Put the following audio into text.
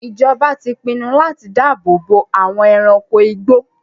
Ìjọba ti pinnu láti dáàbò bo àwọn ẹranko igbó.